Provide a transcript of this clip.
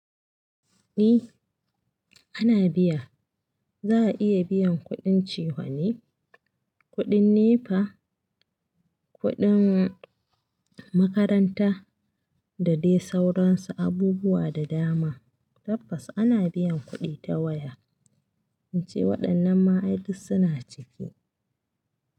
Ni ana biya za a iya biyan kuɗin cefane, kuɗin NEPA, kuɗin makaranta da dai sauransu abubuwa da dama. Tabbas ana biyan kuɗi ta waya ince waɗannan ma ai dus suna ciki.